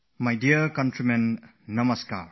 My dear fellow citizens, Namaskar